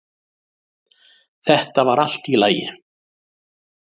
Þetta var allt í lagi